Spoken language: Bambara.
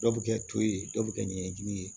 Dɔw bɛ kɛ to ye dɔw bɛ kɛ ɲɛɲini ye